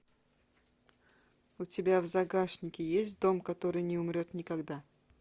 у тебя в загашнике есть дом который не умрет никогда